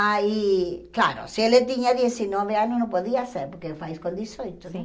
Aí, claro, se ele tinha dezenove anos, não podia ser, porque faz com dezoito, né? Sim